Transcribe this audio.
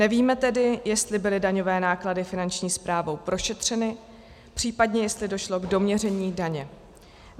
Nevíme tedy, jestli byly daňové náklady Finanční správou prošetřeny, případně, jestli došlo k doměření daně.